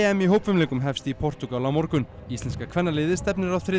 í hópfimleikum hefst í Portúgal á morgun íslenska kvennaliðið stefnir á þriðja